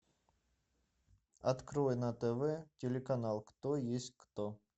открой на тв телеканал кто есть кто